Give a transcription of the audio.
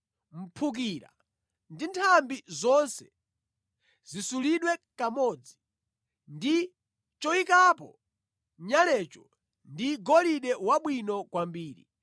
Mphukira ndi nthambi zonse zisulidwe kumodzi ndi choyikapo nyalecho ndi golide wabwino kwambiri.